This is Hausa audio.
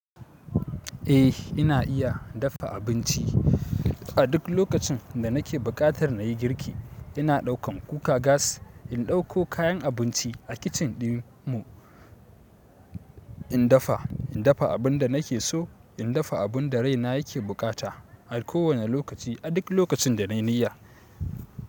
Eh ina iya daffa abinci. A duk lokacin da nake buƙatar na yi girki, ina ɗaukan kuka gas, in ɗauko kayan abinci a kicin ɗin mu, in daffa, in daffa abun da nake so, in daffa abun da raina yake bukata a kowane lokaci, a duk lokacin da na yi niyya.